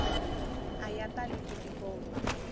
a ya tali ku tikomba